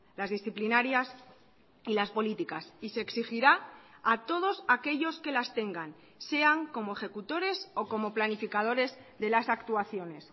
las disciplinarias y las políticas y se exigirá a todos aquellos que las tengan sean como ejecutores o como planificadores de las actuaciones